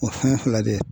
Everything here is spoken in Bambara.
O fɛn fila de ye